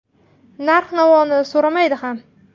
Narx-navoni so‘ramadi ham.